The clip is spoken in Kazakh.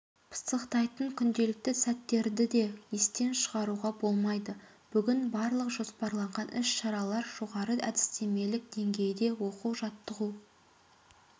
пысықтайтын күнделікті сәттерді де естен шығаруға болмайды бүгін барлық жоспарланған іс-шаралар жоғары әдістемелік деңгейде оқу-жаттығу